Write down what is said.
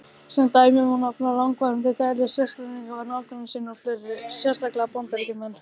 Sem dæmi má nefna langvarandi deilur Svisslendinga við nágranna sína og fleiri, sérstaklega Bandaríkjamenn.